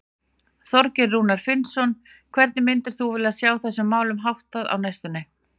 Þorgeir Rúnar Finnsson: Hvernig myndir þú vilja sjá þessum málum háttað á næstunni?